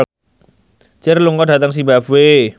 Cher lunga dhateng zimbabwe